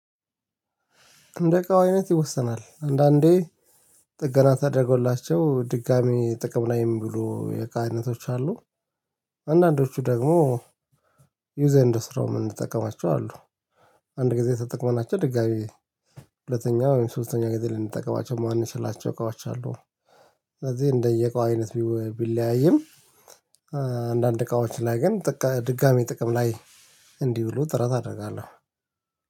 እንደዕቃው አይነት ይወስናል አንዳንዴ ጥገና ተደርጎላቸው ድጋሚ ጥቅም ላይም ብሎ የእቃ አይነቶች አሉ። አንዳንዶቹ ደግሞ ዩዘ ኤንድ ስርዎ የምንጠቀማቸው አሉ። አንድ ጊዜ ተጠቅመናቸው ድጋሚ ሁለተኛ ወይም ሶስተኛ ጊዜ ልንጠቀማቸው ማንችላቸው እቃዎች አሉ። ስለዚህ እንደየቃው አይነት ቢለያይም አንዳንድ እቃዎች ላይ ግን ድጋሚ ጥቅም ላይ እንዲውሉ ጥረት አደርጋለሁ።